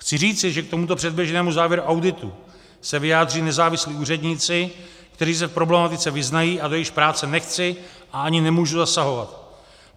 Chci říci, že k tomuto předběžnému závěru auditu se vyjádří nezávislí úředníci, kteří se v problematice vyznají a do jejichž práce nechci a ani nemůžu zasahovat.